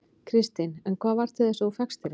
Kristín: En hvað varð til þess að þú fékkst þér ekki?